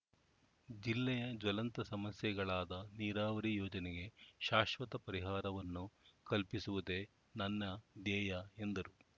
ಜಿಲ್ಲೆಯ ಜ್ವಲಂತ ಸಮಸ್ಯೆಗಳಾದ ನೀರಾವರಿ ಯೋಜನೆಗೆ ಶಾಶ್ವತ ಪರಿಹಾರವನ್ನು ಕಲ್ಪಿಸುವುದೇ ನನ್ನ ಧ್ಯೇಯ ಎಂದರು